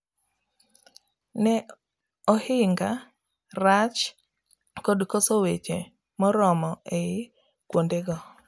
ne ohinga, rach, kod koso weche moromo ei kuonde go